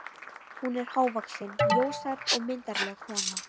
Hún er hávaxin, ljóshærð og myndarleg kona.